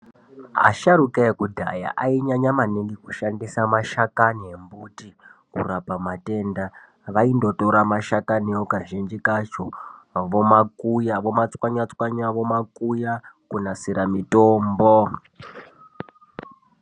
Asharuka ekudhaya ainyanya maningi kushandisa mashakani embuti kurapa matenda. Vaindotora mashakaniwo kazhinji kacho vomakuya, vomatswanya-tswanya, vomakuya kunasira mitombo.